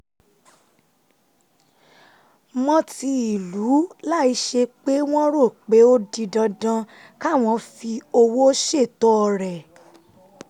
mọ́ ti ìlú láìsí pé wọ́n rò pé ó di dandan káwọn fi owó ṣètọrẹ